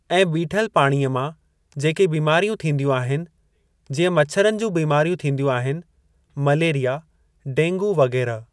ऐं बीठलु पाणीअ मां जेके बीमारियूं थींदियूं आहिनि जीअं मच्छरनि जूं बीमारियूं थीदियूं आहिनि मलेरीया ॾेंगू वग़ैरह।